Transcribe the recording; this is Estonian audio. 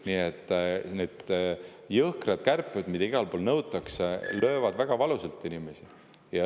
Nii et need jõhkrad kärped, mida igal pool nõutakse, löövad inimeste pihta väga valusalt.